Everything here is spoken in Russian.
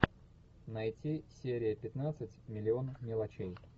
найти серия пятнадцать миллион мелочей